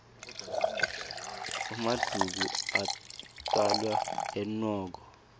emaduku atfwalwa enwoko